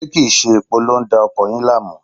Ṣé kí n ṣe epo ló ń da ọkọ̀ yìí láàmú?